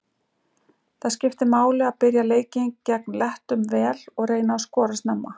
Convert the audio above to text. Það skiptir máli að byrja leikinn gegn Lettum vel og reyna að skora snemma.